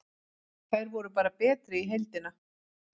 Þær voru bara betri í heildina.